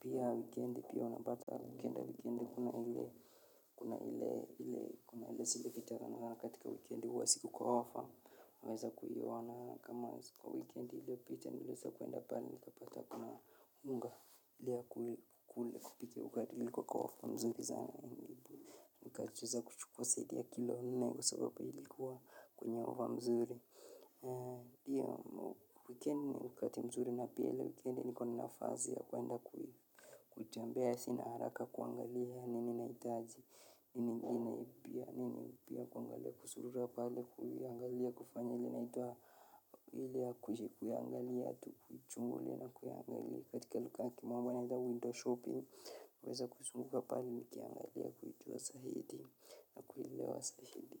pia wikendi pia wanapata wikenda wikendi kuna hile kuna hile sile kitarana katika wikendi uwasiku kwa wafa Mweza kuhiwa wana kama wikendi ilio pita nileza kuenda pala nikapata kuna unga lia kukule kupike ugari li kwa kwa wafo mzuri. Mweza ni katuweza kuchukua saidi ya kilo hulunayi kwa sababu ilikuwa kwenye wafo mzuri. Tia wikendi kati mzuri na piyele wikendi nikonina fazia kuenda kuhi. Kutiambia ya sinaharaka kuangali ya nini naitaji, nini nipia, nini nipia kuangali ya kusurua pale kuhi, angali ya kufanya ili naituwa. Ilia kuji kuyangali ya tu kujungo lina kuyangali katika luka ki mwamba nita winter shopping uweza kuzunguka pali nikiangali ya kujungo wa sahidi.